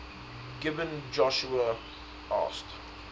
gibeon joshua asked